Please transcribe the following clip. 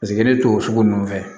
Paseke ne to o sugu ninnu fɛ